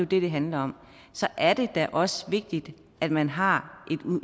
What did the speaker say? det det handler om så er det da også vigtigt at man har